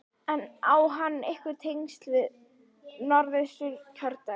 En á hann einhver tengsl við Norðausturkjördæmi?